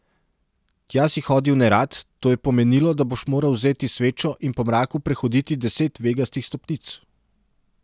Tja si hodil nerad, to je pomenilo, da boš moral vzeti svečo in po mraku prehoditi deset vegastih stopnic.